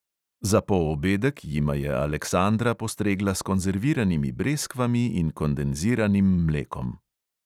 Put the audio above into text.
Za poobedek jima je aleksandra postregla s konzerviranimi breskvami in kondenziranim mlekom.